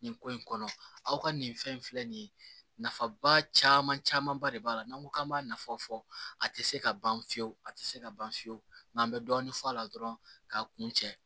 Nin ko in kɔnɔ aw ka nin fɛn in filɛ nin ye nafaba caman camanba de b'a la n'an ko k'an b'a nafa fɔ a tɛ se ka ban fiyewu a tɛ se ka ban fiyewu n'an bɛ dɔɔnin fɔ a la dɔrɔn k'a kun cɛ